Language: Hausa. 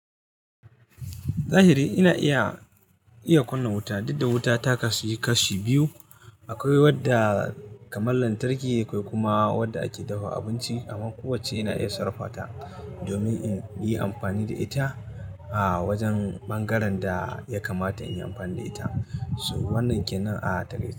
Zahiri ina iya, iya kunna wuta, duk da wuta taka su yi kashi biyu. Akwai wadda kamar lantarki akwai kuma wadda ake dafa abinci. Amma kowacce ina iya sarrafa ta domin in yi amfani da ita a wajen ɓangaren da ya kamata in yi amfani da ita. So wannan kenan a taleta.